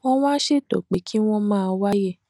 wón wá ṣètò pé kí wón máa wáyè